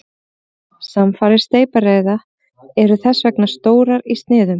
Samfarir steypireyða eru þess vegna stórar í sniðum.